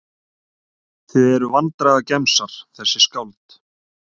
Þið eruð vandræðagemsar þessi skáld.